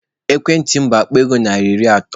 Ekwentị m bụ Akpa ego narị iri atọ.